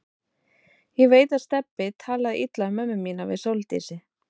Ég veit að Stebbi talaði illa um mömmu mína við Sóldísi.